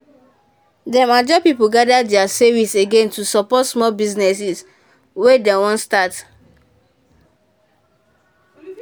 dem ajo people gather their savings again to support small businesses wey dem wan start.